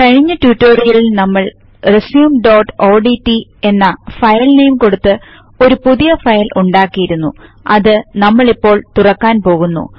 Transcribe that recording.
കഴിഞ്ഞ റ്റുറ്റൊരിയൽ നമ്മൾ resumeഓഡ്റ്റ് എന്ന ഫയൽ നെയിം കൊടുത്തു ഒരു പുതിയ ഫയൽ ഉണ്ടാക്കിയിരുന്നു അത് നമ്മളിപ്പോൾ തുറക്കാൻ പോകുന്നു